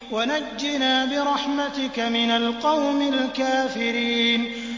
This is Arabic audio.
وَنَجِّنَا بِرَحْمَتِكَ مِنَ الْقَوْمِ الْكَافِرِينَ